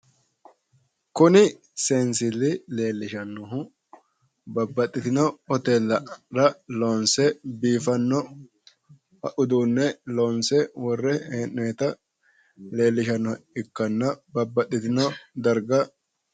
kunni seensilli leellishanohu babbaxxitino hoteelara loonse biiffanno uduunne loonse wore he'noonnita leellishanoha ikkana babbaxxitino darga